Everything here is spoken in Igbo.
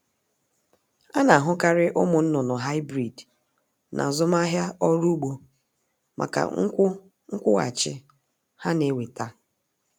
A na-ahukarị ụmụnnụnụ Hybrid n'azụmahịa ọrụ ugbo maka nkwu nkwụghachị ha n-eweta.